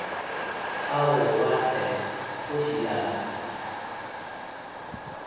aowa hle kgoši ya ka